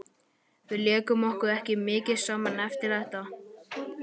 Við lékum okkur ekki mikið saman eftir þetta.